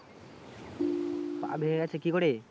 পা ভেঙে গেছে কি করে?